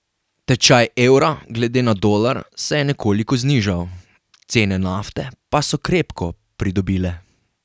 Tečaj evra glede na dolar se je nekoliko znižal, cene nafte pa so krepko pridobile.